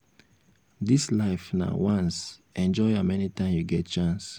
dis life na once enjoy am anytime you get chance